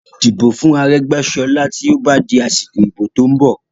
Dìbò fún Aregbesola tí ó bá di asiko ibo tó ń bọ̀!